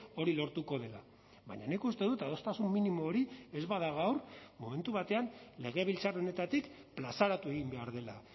hori lortuko dela baina nik uste dut adostasun minimo hori ez bada gaur momentu batean legebiltzar honetatik plazaratu egin behar dela